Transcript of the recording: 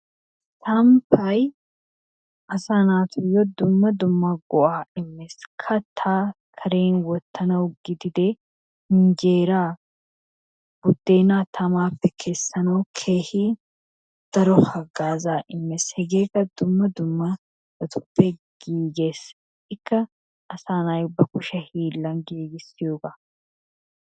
samppay asaa naatuyo dumma dumma go'aa immees. kataa Karen wotanawu gididee injeeraa budeenaa tamaappe kessanawu keehi daro hagaazaa immees hegeekka dumma dummabatuppe giigees. ikka asaa na'ay ba kushe hiilan giigissiyoba.